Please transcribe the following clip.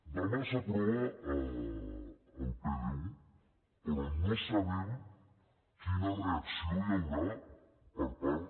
demà s’aprova el pdu però no sabem quina reacció hi haurà per part